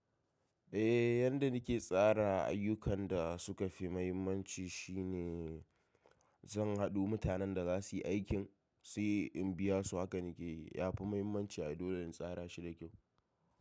Eh, yanda nake tsara ayyukan da suka fi mahimmanci shine zan haɗo da mutanen da za su yi aikin, sai in biya su hakana keyi. Ya fi mahimmanci a dole in tsara shi da kyau.